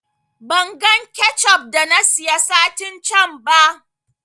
Ban gan kechup da na siya satin can ba